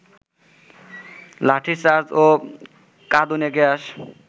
লাঠিচার্জ ও কাঁদুনে গ্যাস